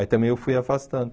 Aí também eu fui afastando.